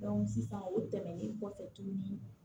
sisan o tɛmɛnen kɔfɛ tuguni